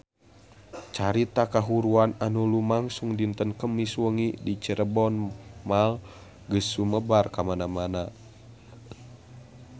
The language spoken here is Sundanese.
Carita kahuruan anu lumangsung dinten Kemis wengi di Cirebon Mall geus sumebar kamana-mana